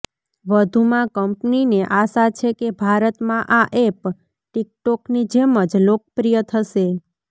વધુ માં કંપનીને આશા છે કે ભારતમાં આ એપ ટિકટોકની જેમ જ લોકપ્રિય થશે